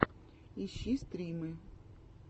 ищи стримы